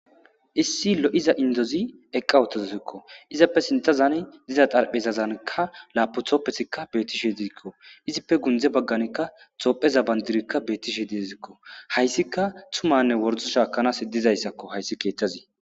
issi lo7iza indozi eqqawotozozikko izappe sintazani diza xarphezazankka laapu tooppetikka beettishe dizikko izippe gundze bagganikka xoopheza bandirikka bettishe diezikko hayssika tumanne wordo shaakanas he dizayssakko hayssi keeththazi